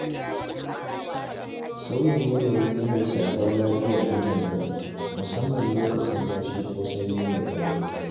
Sauyin yanayi yana shafar lafiyar mutane, musamman lokacin zafi ko sanyi mai tsanani.